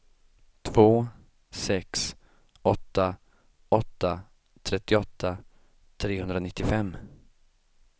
två sex åtta åtta trettioåtta trehundranittiofem